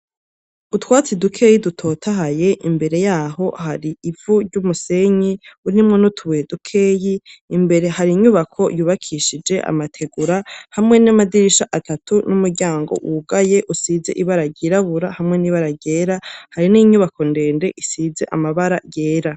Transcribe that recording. Utwatsi dukeyi dutotahaye ,imbere yaho hari ivu ry'umusenyi, urimwo n’utubuye dukeyi ,imbere har’inyubako yubakishije amategura hamwe n'amadirisha atatu n'umuryango wugaye usize ibara ryirabura hamwe n'ibara ryera hari n'inyubako ndende isize amabara yera.